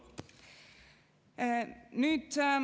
Kolm minutit.